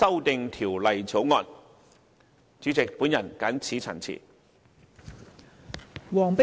代理主席，我謹此陳辭。